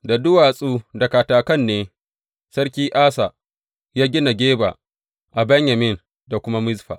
Da duwatsu da katakan ne Sarki Asa ya gina Geba a Benyamin da kuma Mizfa.